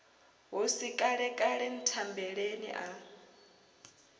hu si kalekale nthambeleni a